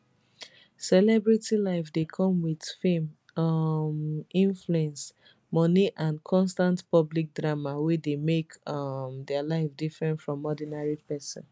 celebrity life dey come wit fame um influence money and constant public drama wey dey make um dia life different from ordinary pesin